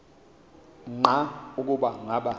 nqa ukuba ngaba